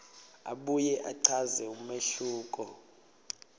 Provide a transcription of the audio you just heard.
abuye achaze umehluko